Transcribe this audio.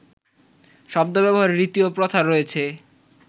শব্দ ব্যবহারের রীতি ও প্রথা রয়েছে